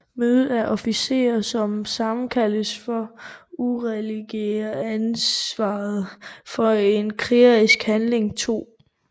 Møde af officerer som sammenkaldes for at uddelegere ansvaret for en krigerisk handling 2